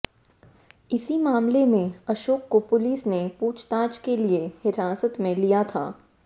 इसी मामले में अशोक को पुलिस ने पूछताछ के लिए हिरासत में लिया था